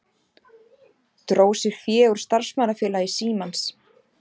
Dró sér fé úr starfsmannafélagi Símans